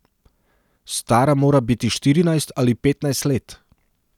Stara mora biti štirinajst ali petnajst let.